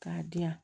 K'a di yan